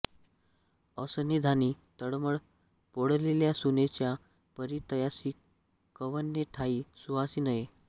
असंन्निधानी तळमळ पोळलेल्या सुनेच्या परी तयासि कव्हणे ठायी सुखासि नेये